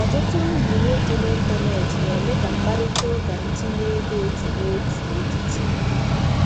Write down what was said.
Ọtụtụ nyiwe dị n'ịntanetị na-eme ka mkparịta ụka ntinye ego otu n'otu n'etiti